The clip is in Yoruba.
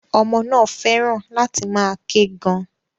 Ọmọ náà fẹ́ràn láti máa ké gan.